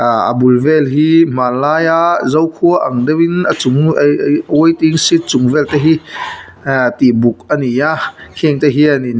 aa a bul vel hi hmanlai a zokhua ang deuhin a chung waiting shed chung vel te hi ee tihbuk ani a heng te hianin--